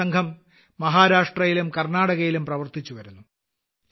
ഇന്ന് ഈ സംഘം മഹാരാഷ്ട്രയിലും കർണാടകയിലും പ്രവർത്തിച്ചുവരുന്നു